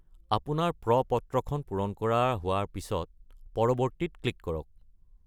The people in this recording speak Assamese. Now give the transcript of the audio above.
আপোনাৰ প্ৰ-পত্ৰখন পূৰণ কৰা হোৱাৰ পিছত "পৰবৰ্তী"-ত ক্লিক কৰক।